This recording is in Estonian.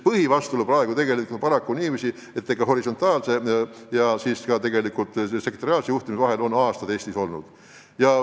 Põhivastuolu on praegu tegelikult selles, et horisontaalse ja sektoriaalse juhtimise vahel on aastaid Eestis lõhe olnud.